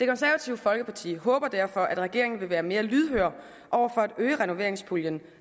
det konservative folkeparti håber derfor at regeringen vil være mere lydhør over for at øge renoveringspuljen